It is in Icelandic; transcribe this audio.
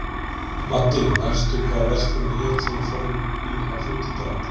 Maddý, manstu hvað verslunin hét sem við fórum í á fimmtudaginn?